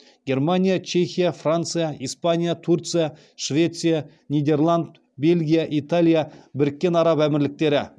германия чехия франция испания турция швеция нидерланд бельгия италия біріккен араб әмірліктері